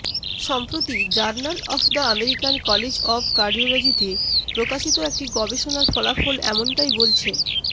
সম্প্রতি journal of the American college of কার্ডিওলজিতে প্রকাশিত একটি গবেষণার ফলাফল এমনটায় বলছে